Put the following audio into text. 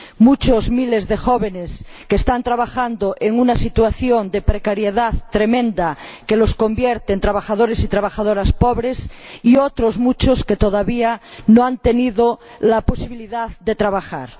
Muchos miles de jóvenes están trabajando en una situación de precariedad tremenda, que los convierte en trabajadores y trabajadoras pobres, y otros muchos todavía no han tenido la posibilidad de trabajar.